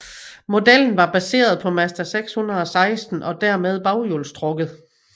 Modellen var baseret på Mazda 616 og dermed baghjulstrukket